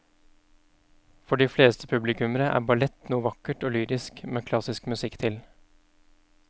For de fleste publikummere er ballett noe vakkert og lyrisk med klassisk musikk til.